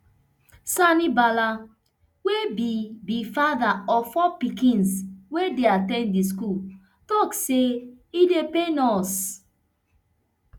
sani bala wey be be father of four pikins wey dey at ten d di school tok say e dey pain us